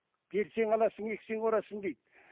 берсең аласың ексең орасың дейді